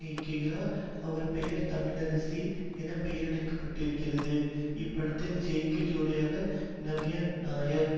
இயக்குகிறார் அவள் பெயர் தமிழரசி என பெயரிடப்பட்டிருக்கும் இப்படத்தில் ஜெய்க்கு ஜோடி நவ்யா நாயர்